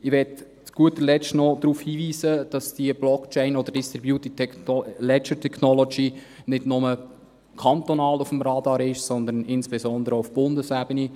Ich möchte zu guter Letzt noch darauf hinweisen, dass diese Blockchain oder DLT nicht nur kantonal auf dem Radar ist, sondern insbesondere auch auf Bundesebene.